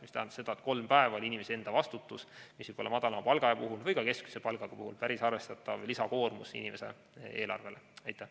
See tähendab seda, et kolm päeva oli inimese enda vastutus, mis madalama või ka keskmise palga puhul võis olla päris arvestatav lisakoormus inimese eelarvele.